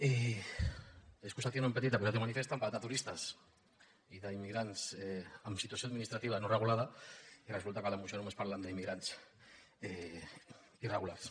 i excusatio non petita accusatio manifesta han parlat de turistes i d’immigrants en situació administrativa no regulada i resulta que a la moció només parlen d’immigrants irregulars